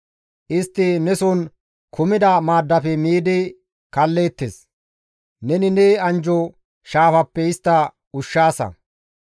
Istti neson kumida maaddafe miidi kaalleettes; neni ne anjjo shaafappe istta ushshaasa.